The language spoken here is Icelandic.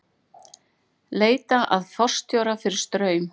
Leita að forstjóra fyrir Straum